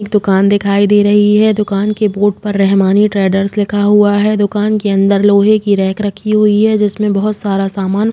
एक दुकान दिखाई दे रही है। दुकान के बोर्ड पर रहमानी ट्रेडर्स लिखा हुआ है। दुकान के अंदर लोहे की रैक रखी हुई है। जिसमे बहुत सारा सामान --